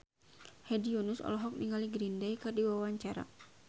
Hedi Yunus olohok ningali Green Day keur diwawancara